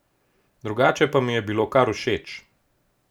Drugače pa mi je bilo kar všeč.